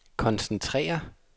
koncentrere